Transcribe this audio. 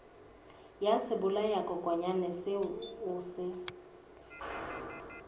ya sebolayakokwanyana seo o se